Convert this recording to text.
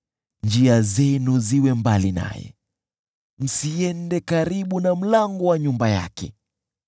Njia zenu ziwe mbali naye, msiende karibu na mlango wa nyumba yake,